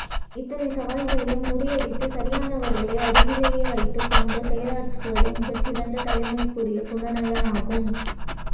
இத்தனை சவால்களையும் முறியடித்து சரியானவர்களை அருகிலே வைத்துக் கொண்டு செயலாற்றுவதே மிகச் சிறந்த தலைவனுக்குரிய குணநலனாகும்